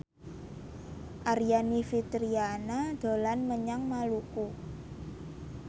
Aryani Fitriana dolan menyang Maluku